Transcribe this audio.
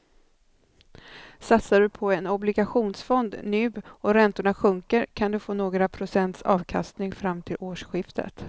Satsar du på en obligationsfond nu och räntorna sjunker kan du få några procents avkastning fram till årsskiftet.